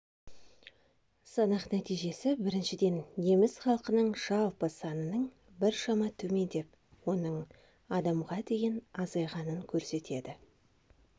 санақ нәтижесі біріншіден неміс халқының жалпы санының біршама төмендеп оның адамға дейін азайғанын көрсетеді